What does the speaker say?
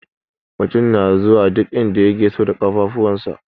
Mutum na zuwa duk inda yake so da ƙafafuwansa.